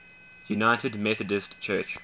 united methodist church